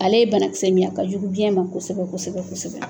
Ale ye banakisɛ min ye a ka jugu biyɛn ma kosɛbɛ kosɛbɛ kosɛbɛ.